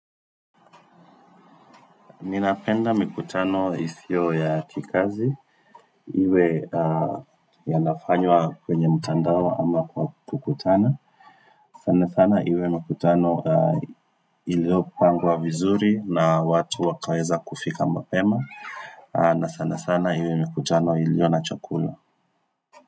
Ninapenda mikutano isio ya kikazi, iwe yanafanywa kwenye mtandao ama kwa kukutana. Sana sana iwe mikutano iliopangwa vizuri na watu wakaweza kufika mapema na sana sana iwe mikutano ilio na chakula.